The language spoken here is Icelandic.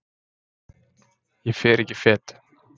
Ég fer ekki fet.